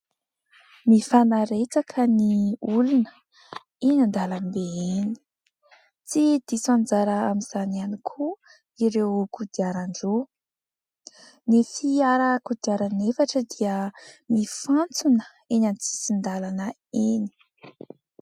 Mifanaretsaka ny olona eny an-dàlambe eny, tsy diso anjara amin'izany ihany koa ireo kodiaran-droa, ny fiara kodiaran'efatra dia mifantsona eny an-tsisin-dàlana eny.